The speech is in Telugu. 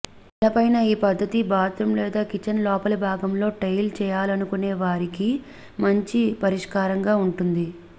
నేలపైన ఈ పద్ధతి బాత్రూం లేదా కిచెన్ లోపలి భాగంలో టైల్ చేయాలనుకునే వారికి మంచి పరిష్కారంగా ఉంటుంది